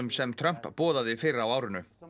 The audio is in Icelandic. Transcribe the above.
sem Trump boðaði fyrr á árinu þarna